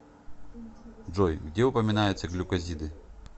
джой где упоминается глюкозиды